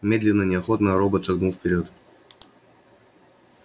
медленно неохотно робот шагнул вперёд